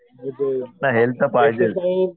मग ते एक्झरसाईझ